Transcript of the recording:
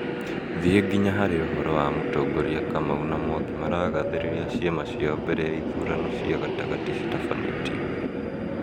thiĩ nginya harĩ uhoro wa mũtongoria Kamau na Mwangi maragathĩrĩria ciama ciao mbele ya ithurano cia gatagatĩ citafanĩtio